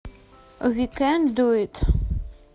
ви кэн ду ит